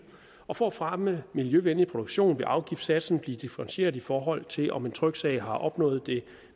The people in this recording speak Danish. og for at fremme miljøvenlig produktion vil afgiftssatsen blive differentieret i forhold til om en tryksag har opnået det